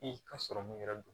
I ka sɔrɔ mun yɛrɛ don